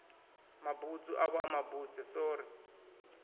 mabutswu avho a mabuse sori